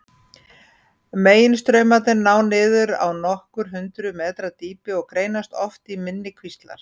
Meginstraumarnir ná niður á nokkur hundruð metra dýpi og greinast oft í minni kvíslar.